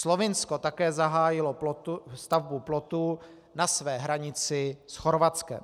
Slovinsko také zahájilo stavbu plotu na své hranici s Chorvatskem.